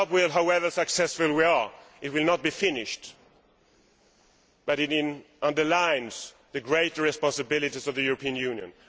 However successful we are, the job will not be finished, but it underlines the great responsibilities of the European Union.